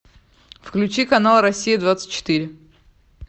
включи канал россия двадцать четыре